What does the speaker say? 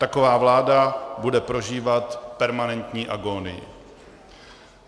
Taková vláda bude prožívat permanentní agónii.